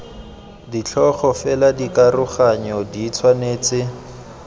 ditlhogo fela dikaroganyo di tshwanetse